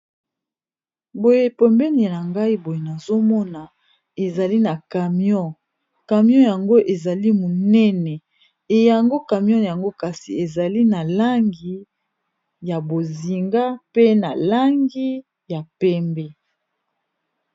boye pombenina ngai boye nazomona ezali na camion camion yango ezali monene eyango camion yango kasi ezali na langi ya bozinga pe na langi ya pembe